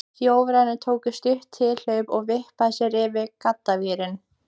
Þjóðverjinn tók stutt tilhlaup og vippaði sér yfir gaddavírinn.